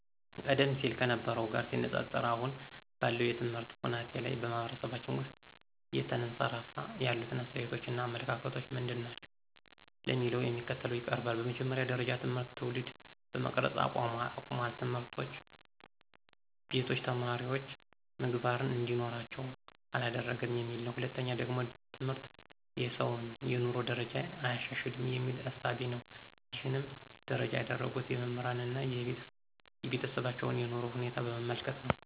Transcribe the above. ቀደም ሲል ከነበረው ጋር ሲወዳደር አሁን ባለው የትምህርት ሁናቴ ላይ በማህበረሰባችን ውስጥ እየተንሰራፋ ያሉት አስተያየቶች እና አመለካከቶች ምንድናቸው ለሚለው እንደሚከተለው ይቀርባል፦ በመጀመሪያ ጀረጃ ትምህርት ትውልድ መቅረጽ አቁሟል፣ ትምህርቶች ቤቶች ተማሪወች ምግባርን እንዲኖራቸው አላደረገም የሚል ነው። በሁለተኛ ደረጃ ደግሞ ትምህርት የሰውን የኑሮ ደረጃ አያሻሽልም የሚል እሳቤ ነው ይሕንም ፍረጃ ያደረጉት የመምህራንን አና የቤተሰባቸውን የኑሮ ሁኔታ በመመልከት ነው።